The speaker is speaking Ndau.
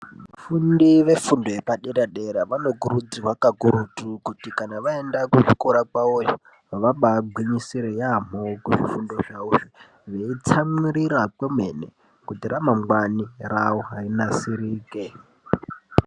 Vafundi vefundo yepadera dera vanokurudzirwa kakurutu kuti kana vaenda kuzvikora kwavoyo vabagwinyisire yaambo kuzvifundo zvavozvo veitsamwirira kwemene kuti ramangwani ravo rinasirike.